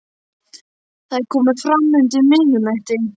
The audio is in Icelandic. Það er komið fram undir miðnætti.